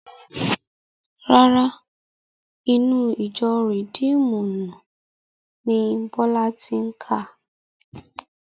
Rárá, inú ìjọ rìdíímùnù ni Bọ́lá ti kà